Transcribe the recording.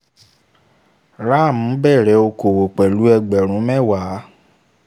ram bẹ̀rẹ̀ okòwò pẹ̀lú ẹgbẹ̀rún mẹ́wàá